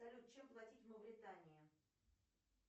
салют чем платить в мавритании